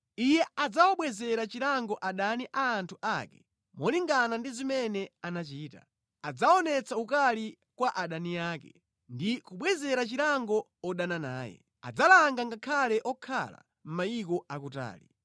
Iye adzawabwezera chilango adani a anthu ake molingana ndi zimene anachita, adzaonetsa ukali kwa adani ake ndi kubwezera chilango odana naye. Adzalanga ngakhale okhala mayiko akutali.